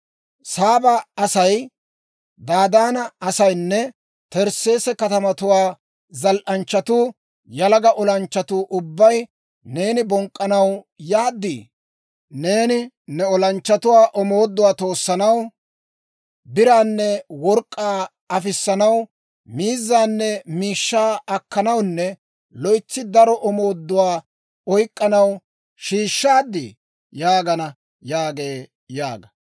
Saaba asay, Dadaana asaynne Tarsseese katamatuwaa zal"anchchatuu yalaga olanchchatuu ubbay, Neeni bonk'k'anaw yaad? Neeni ne olanchchatuwaa omooduwaa toossanaw, biraanne work'k'aa afissanaw, miizzaanne miishshaa akkanawunne loytsi daro omooduwaa oyk'k'anaw shiishshaaddii? yaagana› yaagee» yaaga.